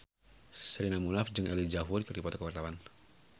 Sherina Munaf jeung Elijah Wood keur dipoto ku wartawan